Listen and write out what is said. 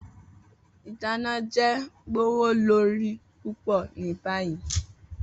Idana jẹ gbowolori pupọ ni bayi.